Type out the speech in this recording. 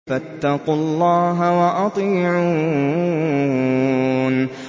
فَاتَّقُوا اللَّهَ وَأَطِيعُونِ